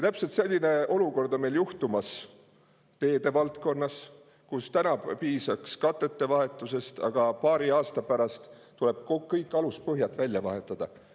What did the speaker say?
Täpselt selline olukord on meil juhtumas teedevaldkonnas, kus täna piisaks katete vahetusest, aga paari aasta pärast tuleb kõik aluspõhjad välja vahetada.